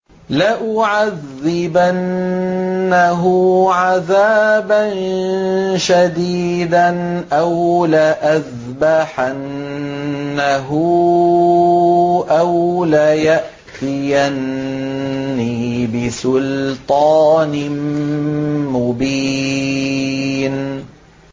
لَأُعَذِّبَنَّهُ عَذَابًا شَدِيدًا أَوْ لَأَذْبَحَنَّهُ أَوْ لَيَأْتِيَنِّي بِسُلْطَانٍ مُّبِينٍ